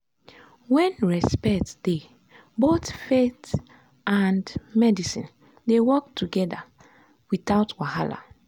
when respect dey both faith and medicine dey work together without wahala.